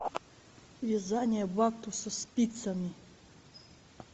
вязание бактуса спицами